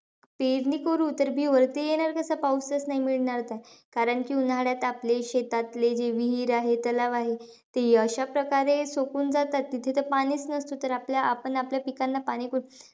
पेरणी करू तर, बी वरती येणार कसं? पाऊसचं नाही मिळणार तर. कारण की, उन्हाळ्यात आपले शेतातले जे विहीर आहे, तलाव आहे. ते अशा प्रकारे सुकून जातात तिथे तर पाणीचं नसत. तर आपण आपल्या पिकांना पाणी कुठून,